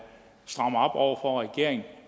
strammer op over for regeringen og